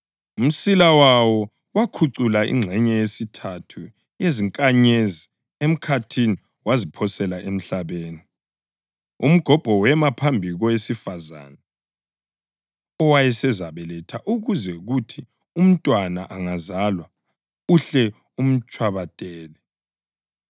Umsila wawo wakhucula ingxenye yesithathu yezinkanyezi emkhathini waziphosela emhlabeni. Umgobho wema phambi kowesifazane owayesezabeletha ukuze kuthi umntwana angazalwa uhle umtshwabadele.